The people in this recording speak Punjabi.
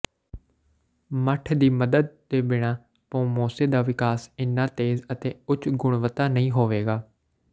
ਮੱਠ ਦੀ ਮਦਦ ਦੇ ਬਿਨਾਂ ਪੋਮੋਜੇ ਦਾ ਵਿਕਾਸ ਇੰਨਾ ਤੇਜ਼ ਅਤੇ ਉੱਚ ਗੁਣਵੱਤਾ ਨਹੀਂ ਹੋਵੇਗਾ